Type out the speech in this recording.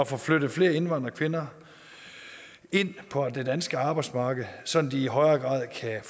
får flyttet flere indvandrerkvinder ind på det danske arbejdsmarked sådan at de i højere grad kan